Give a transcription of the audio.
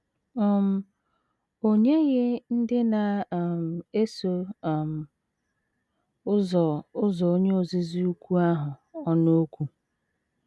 um O NYEGHỊ ndị na um - eso um ụzọ ụzọ Onye Ozizi Ukwu ahụ ọnụ okwu.